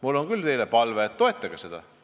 Mul on küll teile palve, et toetage seda.